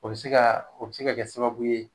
O bɛ se ka o bɛ se ka kɛ sababu ye